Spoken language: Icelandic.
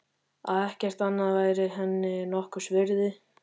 Að ekkert annað væri henni nokkurs virði.